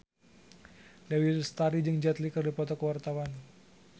Dewi Lestari jeung Jet Li keur dipoto ku wartawan